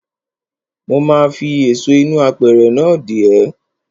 Mo ma fi èso inú apẹ̀rẹ̀ náà dè ẹ́.